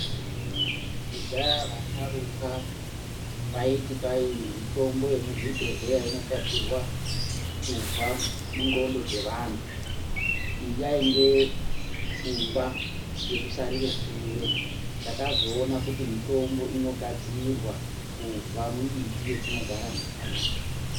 Kudhaya vasharuka vaiti kwai mutombo yemuzvibhedhleya inogadzirwa kubva mundxondo dzevantu iyi yainge pfungwa yekusarire shure. Takazoona kuti mitombo inogadzirwa kubva mumiti yetinogara nayo.